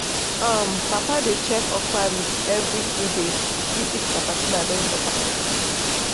um papa dey check okra leaf every two days to see if caterpillar don chop am.